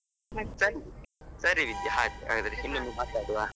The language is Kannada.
ಸರಿ ವಿದ್ಯಾ ಹಾಗಾದರೆ ಇನೊಮ್ಮೆ ಮಾತಾಡುವಾ.